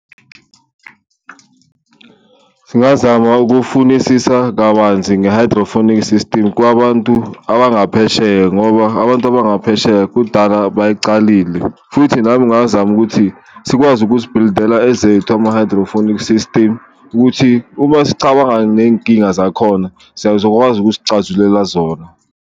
Singazama ukufunisisa kabanzi nge-hydroponic system kwabantu abangaphesheya ngoba abantu abangaphesheya kudala bayicalile, futhi nami ngazama ukuthi sikwazi ukuzibhilidela ezethu ama-hydroponic system ukuthi, uma sicabanga neyinkinga zakhona seyizokwazi ukuzicazulela zona.